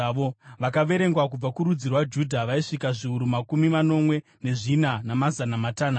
Vakaverengwa kubva kurudzi rwaJudha vaisvika zviuru makumi manomwe nezvina, namazana matanhatu.